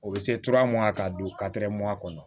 O bɛ se tura munna k'a don kɔnɔ